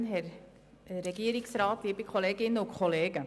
Ich habe nur einen Antrag.